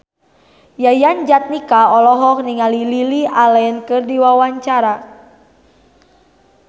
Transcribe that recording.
Yayan Jatnika olohok ningali Lily Allen keur diwawancara